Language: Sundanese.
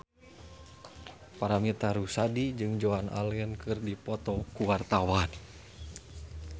Paramitha Rusady jeung Joan Allen keur dipoto ku wartawan